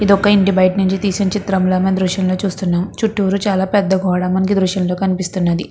ఇది ఒక ఇంటి బయట నుంచి తీసిన చిత్రంలా మనం ఈ దృశ్యంలో చుస్తునాం. చుట్టురు చాలా పెద్ద గోడ మనకి ఈ దృశ్యంలో కనిపిస్తున్నది.